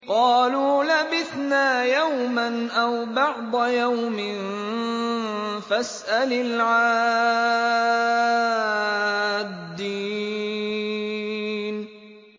قَالُوا لَبِثْنَا يَوْمًا أَوْ بَعْضَ يَوْمٍ فَاسْأَلِ الْعَادِّينَ